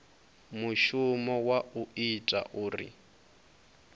mushumo wa u ita uri